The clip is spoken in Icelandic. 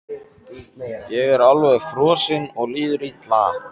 Ég er alveg frosinn og líður illa.